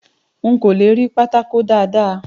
N kò le rí pátákó dáàda.